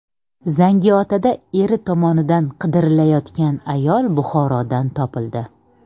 Zangiotada eri tomonidan qidirilayotgan ayol Buxorodan topildi.